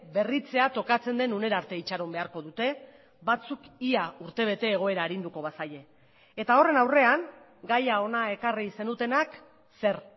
berritzea tokatzen den unera arte itxaron beharko dute batzuk ia urtebete egoera arinduko bazaie eta horren aurrean gaia hona ekarri zenutenak zer